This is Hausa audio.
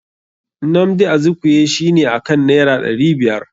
Nnamdi Azikwe shi ne akan naira ɗari biyar.